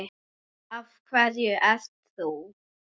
Af hverju ert þú?